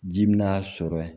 Ji min n'a sɔrɔ